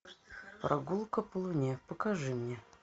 прогулка по луне покажи мне